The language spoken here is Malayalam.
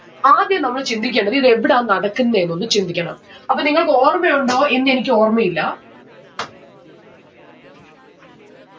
ആദ്യം നമ്മൾ ചിന്തിക്കണ്ടത് ഇത് എവിടആ നടക്കുന്നെന്ന് ഒന്ന് ചിന്തിക്കണം. അപ്പൊ നിങ്ങൾക്ക് ഓർമ്മയുണ്ടോ എന്നെനിക്ക് ഓർമയില്ല